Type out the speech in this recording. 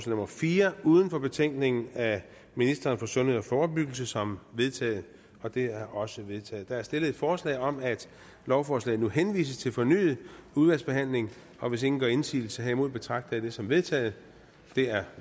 nummer fire uden for betænkningen af ministeren for sundhed og forebyggelse som vedtaget det er også vedtaget der er stillet et forslag om at lovforslaget nu henvises til fornyet udvalgsbehandling og hvis ingen gør indsigelse herimod betragter jeg det som vedtaget det er